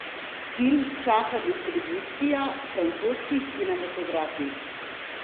Film čaka distribucija v francoskih kinematografih.